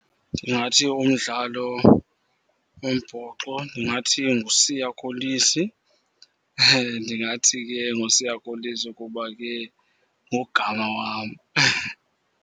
Ndingathi umdlalo umbhoxo, ndingathi nguSiya Kolisi. Ndingathi ke nguSiya Kolisi kuba ke ngugama wam.